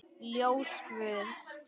Ljós guðs.